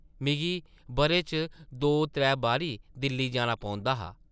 मिगी बʼरे च दो-त्रै बारी दिल्ली जाना पौंदा हा ।